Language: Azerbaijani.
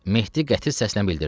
Mehdi qəti səslə bildirdi.